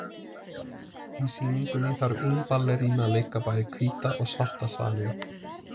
Í sýningunni þarf ein ballerína að leika bæði hvíta og svarta svaninn.